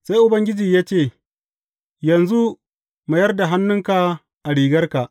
Sai Ubangiji ya ce, Yanzu, mayar da hannunka a rigarka.